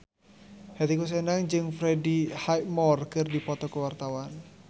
Hetty Koes Endang jeung Freddie Highmore keur dipoto ku wartawan